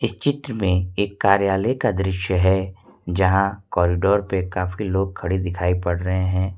इस चित्र में एक कार्यालय का दृश्य है जहां कॉरिडोर पे काफी लोग खड़े दिखाई पड़ रहे हैं।